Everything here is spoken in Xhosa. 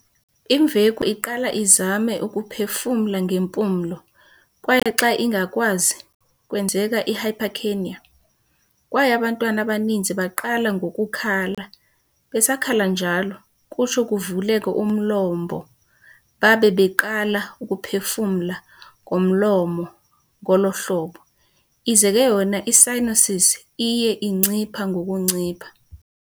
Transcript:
Imveku iqala izame ukuphefumla ngempumlo, kwaye xa ingakwazi, kwenzeka i- hypercapnia, kwaye abantwana abaninzi baqala ngokukhala. Besakhala njalo, kutsho kuvuleke umlombo babe baqala ukuphefumla ngomlomo ngolo hlobo, ize ke yona i-cyanosis iye incipha ngokuncipha.